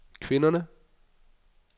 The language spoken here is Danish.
kvinderne